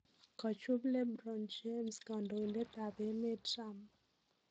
Kachup Le Bron James kandoindet ab emet Trump